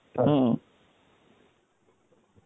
ta ta.